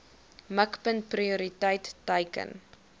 mikpunt prioriteit teiken